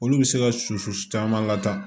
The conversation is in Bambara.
Olu bɛ se ka susu caman lataa